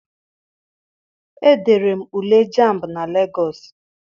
Edere m Ule jamb na Legọọsị.